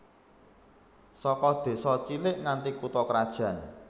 Saka désa cilik nganti kutha krajan